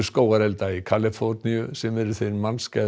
skógarelda í Kaliforníu sem eru þeir